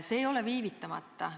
See ei ole viivitamata.